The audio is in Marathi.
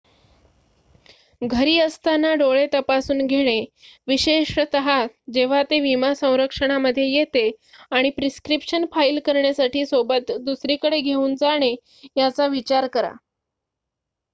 घरी असताना डोळे तपासून घेणे विशेषत जेव्हा ते विमा संरक्षणामध्ये येते आणि प्रिस्क्रिप्शन फाइल करण्यासाठी सोबत दुसरीकडे घेऊन जाणे याचा विचार करा